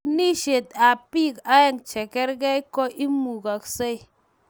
katuniesietab bik aeng chegergei ko imugasei?